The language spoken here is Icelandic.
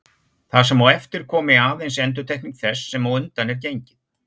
Það sem á eftir komi aðeins endurtekning þess sem á undan er gengið.